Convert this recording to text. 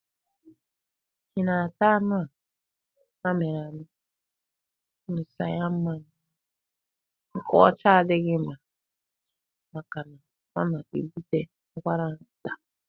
Ị na-ata anụ a mịrị amị ṅụsa ya mmanya nkwọcha adịghị ma maka na'o na-ebute ụkwara nta'.